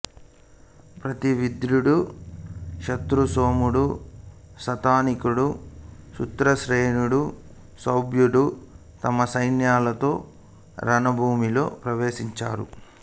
ప్రతి వింధ్యుడు శ్రుతసోముడు శతానీకుడు శ్రుతసేనుడు సౌభద్రుడు తమ సైన్యాలతో రణభూమిలో ప్రవేశించారు